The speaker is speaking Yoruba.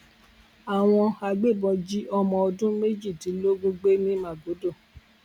àwọn agbébọn jí ọmọ ọdún méjìdínlógún gbé ní magodo